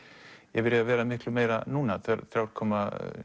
yfir í að vera miklu meira núna þrjú komma